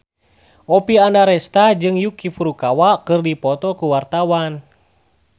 Oppie Andaresta jeung Yuki Furukawa keur dipoto ku wartawan